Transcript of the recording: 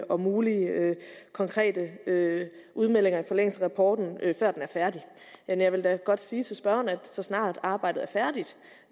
og mulige konkrete udmeldinger i forlængelse af rapporten før den er færdig men jeg vil da godt sige til spørgeren at så snart arbejdet er færdigt